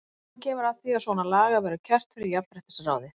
Einhvern tímann kemur að því að svona lagað verður kært fyrir jafnréttisráði.